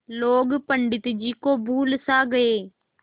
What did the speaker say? लोग पंडित जी को भूल सा गये